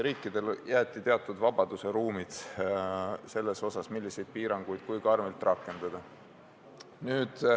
Riikidele jäeti teatud vabadus selles osas, milliseid piiranguid ja kui karmilt rakendada.